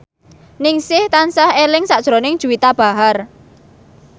Ningsih tansah eling sakjroning Juwita Bahar